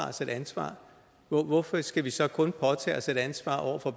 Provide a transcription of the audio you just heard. os et ansvar hvorfor skal vi så kun påtage os et ansvar over for